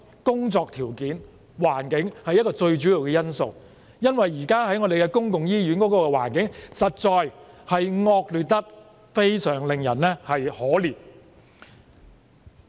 工作條件和環境當然是最主要的因素，因為現時公立醫院的環境實在是惡劣至令人感到可憐。